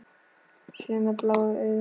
Sömu bláu augun.